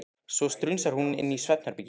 Svo strunsar hún inn í svefnherbergi.